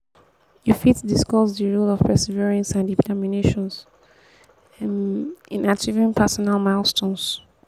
you fit discuss di role of perseverance and determination um in achieving personal milestones. um